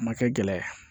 A ma kɛ gɛlɛya ye